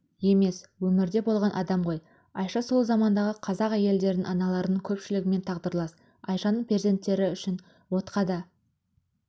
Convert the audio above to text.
емес өмірде болған адамғой айша сол замандағы қазақ әйелдерінің аналарының көпшілігімен тағдырлас айшаның перзенттері үшін отқа да